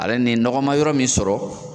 Ale ni nɔgɔ ma yɔrɔ min sɔrɔ